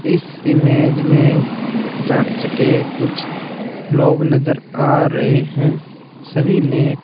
इस इमेज़ में चर्च के कुछ लोग नजर आ रहे हैं सभी ने--